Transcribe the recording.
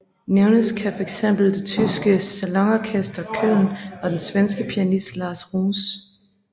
Nævnes kan fx det tyske Salonorchester Cölln og den svenske pianist Lars Roos